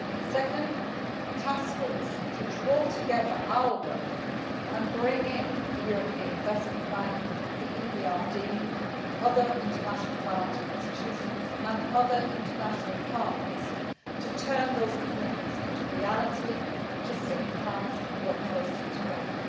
Second, I have established a Task Force to draw together our work and bring in the European Investment Bank, the EBRD, other international financial institutions and other international partners, to turn commitments into reality, to synchronise and work closely together.